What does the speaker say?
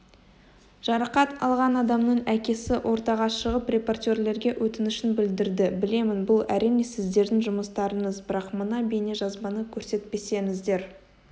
жарақат алған адамның әкесі ортаға шығып репортерлерге өтінішін білдірді білемін бұл әрине сіздердің жұмыстарыңыз бірақ мына бейнежазбаны көрсетпесеңіздер